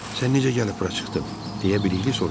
Sən necə gəlib bura çıxdın, deyə Bilikli soruşdu.